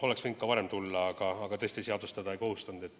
Oleks võinud ka varem tulla, aga tõesti, seadus teda ei kohustanud.